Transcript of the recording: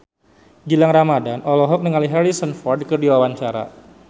Gilang Ramadan olohok ningali Harrison Ford keur diwawancara